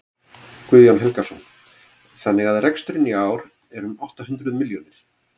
Guðjón Helgason: Þannig að reksturinn í ár er um átta hundruð milljónir?